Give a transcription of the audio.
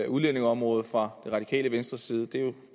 udlændingeområdet fra det radikale venstres side det er jo